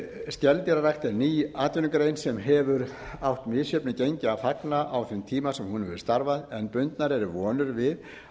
skeldýrarækt er ný atvinnugrein sem hefur átt misjöfnu gengi að fagna á þeim tíma sem hún hefur starfað en bundnar eru vonir við